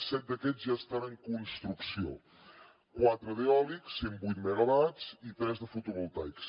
set d’aquests ja estan en construcció quatre d’eòlics cent vuit megawatts i tres de fotovoltaics